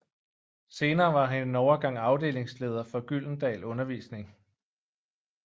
Senere var han en overgang afdelingsleder for Gyldendal Undervisning